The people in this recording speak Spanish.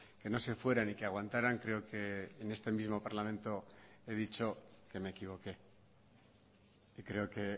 que no se fueran y que aguantaran creo que en este mismo parlamento he dicho que me equivoqué y creo que